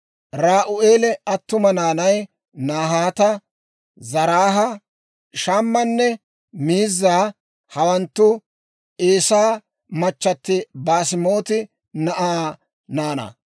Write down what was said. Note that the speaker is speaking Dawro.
Ra'u'eela attuma naanay Nahaata, Zaraaha, Shammanne Miizaa; hawanttu Eesaa machchatti Baasemaati na'aa naanaa.